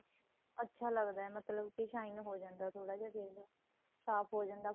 ਅੱਛਾ ਲੱਗਦਾ ਮਤਲਬ ਕੀ shine ਹੋ ਜਾਂਦਾ ਥੋੜਾ ਜਾ face ਸਾਫ਼ ਹੋ ਜਾਂਦਾ ਏ